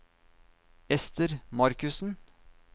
Esther Markussen